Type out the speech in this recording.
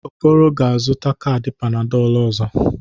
Okoro ga-azụta kaadị Panadolụ ọzọ.